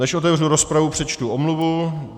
Než otevřu rozpravu, přečtu omluvu.